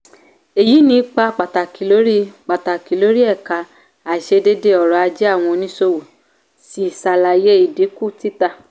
èyí ní ipa pàtàkì lórí pàtàkì lórí ẹ̀ka àìṣedédé ọ̀rọ̀-ajé àwọn oníṣòwò sì ṣàlàyé ìdínkù títà.